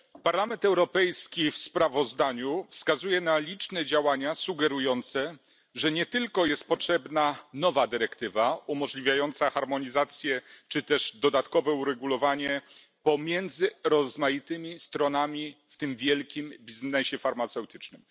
Panie Przewodniczący! Parlament Europejski w sprawozdaniu wskazuje na liczne działania sugerujące, że nie tylko jest potrzebna nowa dyrektywa umożliwiająca harmonizację czy też dodatkowe uregulowania pomiędzy rozmaitymi stronami w tym wielkim biznesie farmaceutycznym.